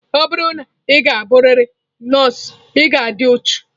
Ọ bụrụ na ị ga-abụrịrị nọọsụ, ị ga-adị uchu.